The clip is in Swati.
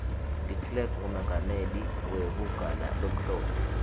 declerk ngumengameli wekugana lomhlophe